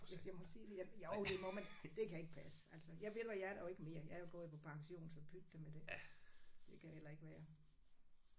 Hvis jeg må sige det jeg jo det må man. Det kan ikke passe altså jeg ved du hvad jeg er der jo ikke mere jeg er jo gået på pension så pyt da med det. Det kan heller ikke være